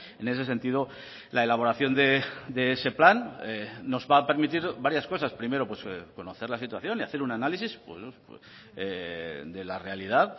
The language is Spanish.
en ese sentido la elaboración de ese plan nos va a permitir varias cosas primero conocer la situación y hacer un análisis de la realidad